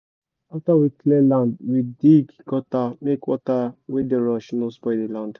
after we clear land we dig gutter make water wey dey rush no spoil the land